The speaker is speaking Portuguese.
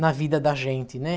na vida da gente, né?